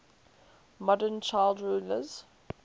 modern child rulers